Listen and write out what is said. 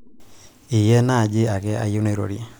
iyie naaji ake ayieu nairorie